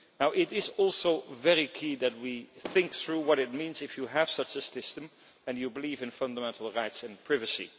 It is also key that we think through what it means if you have such a system and you believe in fundamental rights and privacy.